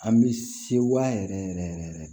An bɛ se wa yɛrɛ yɛrɛ yɛrɛ yɛrɛ